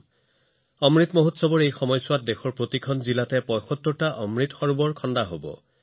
অমৃত মহোৎসৱৰ সময়ত দেশৰ প্ৰতিখন জিলাতে ৭৫ টা অমৃত সৰোবৰ নিৰ্মাণ কৰা হব